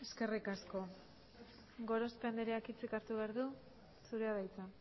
eskerrik asko gorospe andreak hitzik hartu behar du zurea da hitza